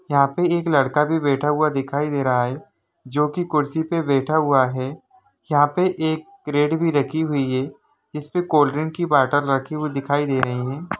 यहां पे एक लड़का भी बैठा हुआ दिखाई दे रहा है जो की कुर्सी पर बैठा हुआ है यहां पर एक कैरट भी रखी हुई है जिसमें कोल्ड ड्रिंक की बोतल रखी हुई दिखाई दे रही है।